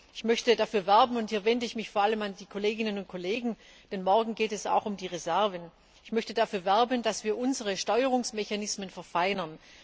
Ich möchte dafür werben und hier wende ich mich vor allem an die Kolleginnen und Kollegen, denn morgen geht es auch um die Reserven dass wir unsere Steuerungsmechanismen verfeinern.